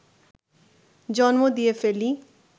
জন্ম দিয়ে ফেলি